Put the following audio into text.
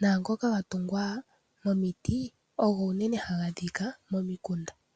Naangoka ga tungwa momiti ogo unene haga adhika momikunda.